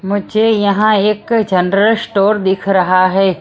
मुझे यहां एक जनरल स्टोर दिख रहा है।